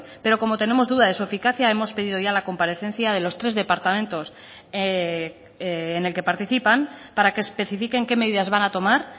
pero como tenemos duda de su eficacia hemos pedido ya la comparecencia de los tres departamentos en el que participan para que especifiquen qué medidas van a tomar